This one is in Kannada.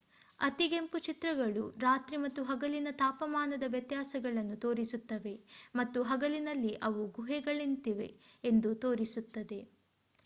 ಅತಿಗೆಂಪು ಚಿತ್ರಗಳು ರಾತ್ರಿ ಮತ್ತು ಹಗಲಿನ ತಾಪಮಾನದ ವ್ಯತ್ಯಾಸಗಳನ್ನು ತೋರಿಸುತ್ತವೆ ಮತ್ತು ಹಗಲಿನಲ್ಲಿ ಅವು ಗುಹೆಗಳಂತಿವೆ ಎಂದು ತೋರಿಸುತ್ತದೆ